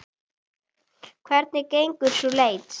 Hvernig gengur sú leit?